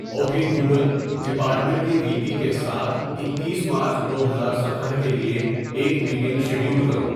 okay Google department کے V P کے ساتھ اکیس مارچ دو ہزار سترہ کے لیے ایک میٹنگ شیڈیول کرو